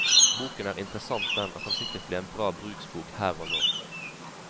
Boken er interessant den, og kan sikkert bli en bra bruksbok her og nå.